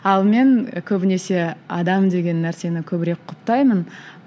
ал мен көбінесе адам деген нәрсені көбірек құптаймын